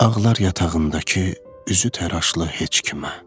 Ağlar yatağındakı üzü təraşlı heç kimə.